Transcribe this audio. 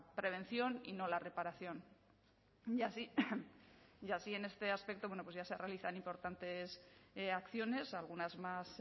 prevención y no la reparación y así en este aspecto bueno pues ya se realizan importantes acciones algunas más